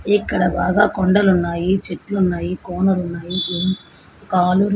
ఇక్కడ బాగా కొండలు ఉన్నాయి చెట్లున్నాయి కోనలు ఉన్నాయి. ఇం కాలు--